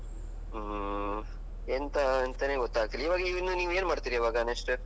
ಹ್ಮ್ ಎಂತ ಅಂತಾನೆ ಗೊತ್ತಾಗ್ತಿಲ್ಲ. ಇವಾಗ ನೀವ್ ಇನ್ನು ಏನ್ ಮಾಡ್ತಿರಾ ಈವಾಗ next?